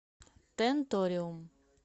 тенториум